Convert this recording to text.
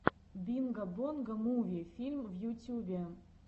бинго бонго муви фильм в ютюбе